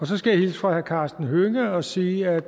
så skal jeg hilse fra herre karsten hønge og sige at